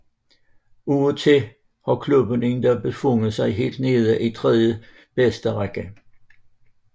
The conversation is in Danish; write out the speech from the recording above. Af og til har klubben endda befundet sig helt nede i tredjebedste række